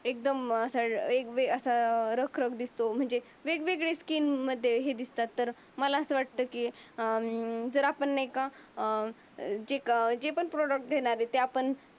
एकदम अशा एक बी अशा रखरख दिसतो. म्हणजे वेगवेगळ्या असतील मध्ये हे दिसतात. तर मला असं वाटते, की जर अं आपण नाही का अं जे का काही आपण प्रोटेक्ट घेणार आहे. आपण